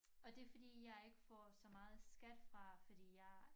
Og det fordi jeg ikke får så meget skat fra fordi jeg